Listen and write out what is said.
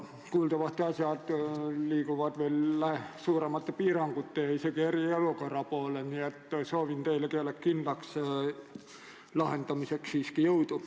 Kuuldavasti me liigume veel suuremate piirangute, isegi eriolukorra poole ja ma soovin teile selle kindlaks lahendamiseks jõudu.